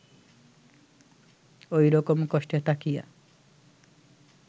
ঐরকম কষ্টে থাকিয়া